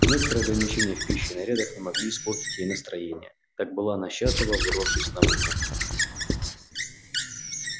некоторые ограничения в пище и нарядах не могли испортить ей настроения так была она счастлива вырвавшись на волю